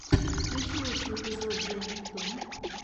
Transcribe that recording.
включи лучший эпизод зе нептун